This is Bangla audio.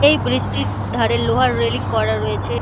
এই ব্রিজ -টির ধারে লোহার রেইলিং করা রয়েছে --